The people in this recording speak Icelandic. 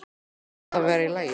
Hún varð að vera í lagi.